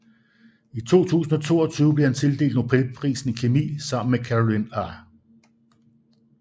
I 2022 blev han tildelt Nobelprisen i kemi sammen med Carolyn R